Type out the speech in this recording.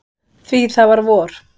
Því það var vor.